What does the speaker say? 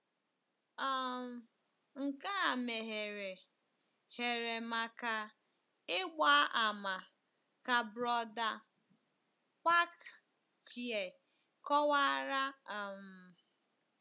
um Nke a meghere here maka ịgba àmà, ka Brother Kwakye kọwara. um.